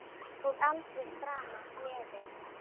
Og aldrei framar gleði.